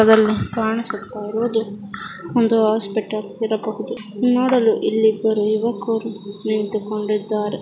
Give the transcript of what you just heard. ಅದರಲ್ಲಿ ಕಾಣಿಸುತ್ತ ಇರುವುದು ಒಂದು ಹಾಸ್ಪಿಟಲ್ ಇರಬಹುದು ನೋಡಲು ಇಲ್ಲಿ ಇಬ್ಬರು ಯುವಕರು ನಿಂತುಕೊಂಡಿದ್ದಾರೆ .